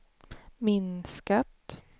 minskat